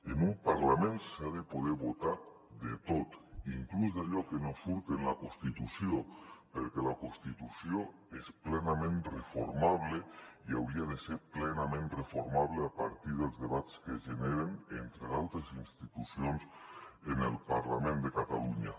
en un parlament s’ha de poder votar tot inclús allò que no surt en la constitució perquè la constitució és plenament reformable i hauria de ser plenament reformable a partir dels debats que es generen entre d’altres institucions en el parlament de catalunya